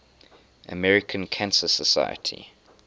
american cancer society